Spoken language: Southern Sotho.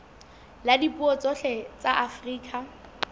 la dipuo tsohle tsa afrika